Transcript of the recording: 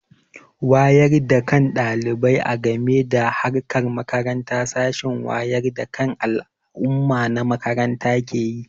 Wayar da kan ɗalibai a game da harkar makaranta sashen wayar da kan al'umma na makaranta ke yi.